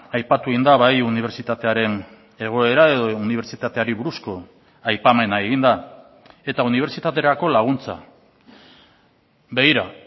aipatu egin da bai unibertsitatearen egoera edo unibertsitateari buruzko aipamena egin da eta unibertsitaterako laguntza begira